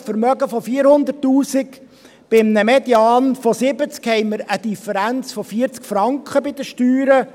Bei einem Vermögen von 400’000 Franken bei einem Median von 70 haben wir eine Differenz von 40 Franken bei den Steuern.